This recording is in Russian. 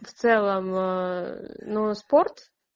в целом ну спорт